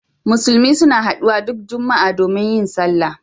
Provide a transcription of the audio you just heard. Musulmi suna haɗuwa duk Juma'a domin yin sallah.